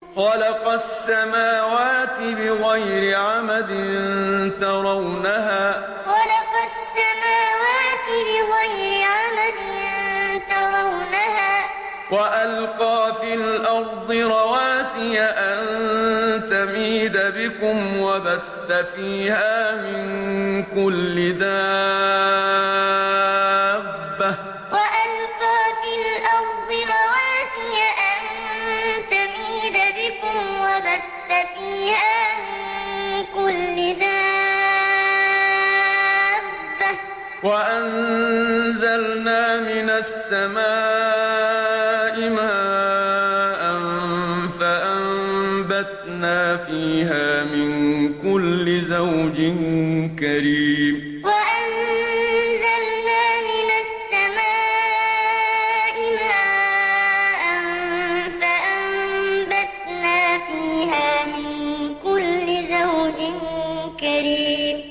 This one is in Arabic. خَلَقَ السَّمَاوَاتِ بِغَيْرِ عَمَدٍ تَرَوْنَهَا ۖ وَأَلْقَىٰ فِي الْأَرْضِ رَوَاسِيَ أَن تَمِيدَ بِكُمْ وَبَثَّ فِيهَا مِن كُلِّ دَابَّةٍ ۚ وَأَنزَلْنَا مِنَ السَّمَاءِ مَاءً فَأَنبَتْنَا فِيهَا مِن كُلِّ زَوْجٍ كَرِيمٍ خَلَقَ السَّمَاوَاتِ بِغَيْرِ عَمَدٍ تَرَوْنَهَا ۖ وَأَلْقَىٰ فِي الْأَرْضِ رَوَاسِيَ أَن تَمِيدَ بِكُمْ وَبَثَّ فِيهَا مِن كُلِّ دَابَّةٍ ۚ وَأَنزَلْنَا مِنَ السَّمَاءِ مَاءً فَأَنبَتْنَا فِيهَا مِن كُلِّ زَوْجٍ كَرِيمٍ